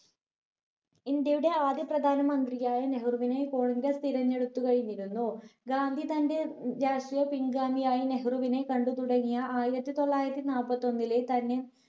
ഇന്ത്യയുടെ ആദ്യ പ്രധാന മന്ത്രിയായി നെഹ്‌റുവിനെ congress തിരഞ്ഞെടുത്തു കഴിഞ്ഞിരുന്നു. ഗാന്ധി തന്റെ ഏർ രാഷ്ട്രീയ പിൻഗാമിയായും നെഹ്‌റുവിനെ കണ്ടു തുടങ്ങിയ ആയിരത്തി തൊള്ളായിരത്തി നാപ്പത്തൊന്നിലെ തന്നെ